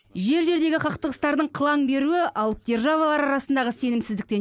жер жердегі қақтығыстардың қылаң беруі алып державалар арасындағы сенімсіздіктен